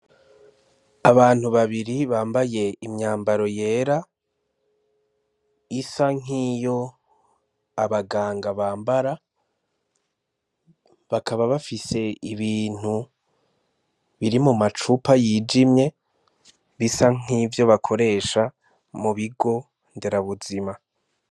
Abantu babiri bambaye imyambaro yera isa nk'iyo abaganga bambara bakaba bafise ibintu biri mu macupa yijimye bisa nk'ivyo bakoresha mu bigo dera buzima.